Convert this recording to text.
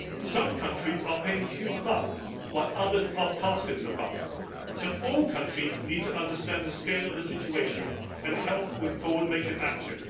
Some countries are paying huge bucks while others are passing the buck, so all countries need to understand the scale of the situation and help with coordinated action.